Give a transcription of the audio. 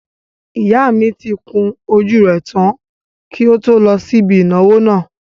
Ìyá mi tí kun ojú rẹ̀ tán kí ó tó lọ sí ibi ìnáwó náà